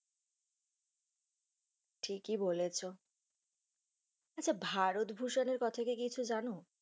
ঠিক বলেছ, আচ্ছা ভারতভূসুন এর কথা কি কিছু জানো?